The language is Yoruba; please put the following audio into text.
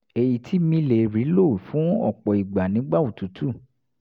èyí tí mi lè rí lò fún ọ̀pọ̀ ìgbà nígbà òtútù